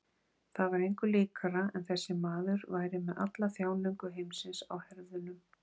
Það var engu líkara en þessi maður væri með alla þjáningu heimsins á herðunum.